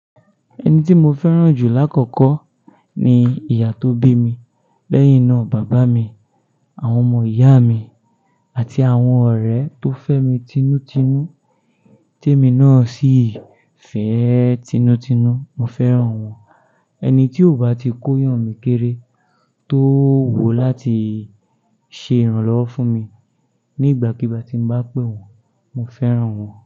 Ẹni tí mo fẹ́ràn jù lákòókò ni ìyá tó bí mi, lẹ́yìn náà bàbá mi, àwọn ọmọ ìyá mi àti àwọn ọ̀rẹ́ tó fẹ́ mi tinútinú, tí èmi náà sì fẹ́ tinútinú, mo fẹ́ràn wọ́n. Ẹni tí ò bá ti kóyan mi kéré, tó wo láti ṣe ìrànlọ́wọ́ fún mi nígbàkigbà tí n bá pè wọ́n, mo fẹ́ràn wọ́n.